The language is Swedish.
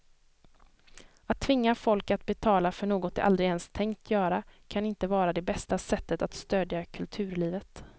Att tvinga folk att betala för något de aldrig ens tänkt göra kan inte vara det bästa sättet att stödja kulturlivet.